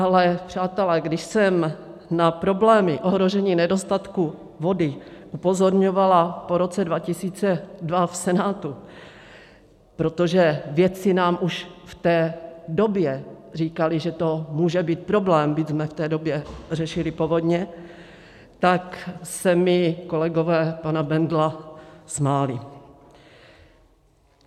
Ale přátelé, když jsem na problémy ohrožení nedostatku vody upozorňovala po roce 2002 v Senátu, protože vědci nám už v té době říkali, že to může být problém, byť jsme v té době řešili povodně, tak se mi kolegové pana Bendla smáli.